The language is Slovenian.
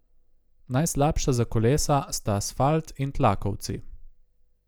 Najslabša za kolesa sta asfalt in tlakovci.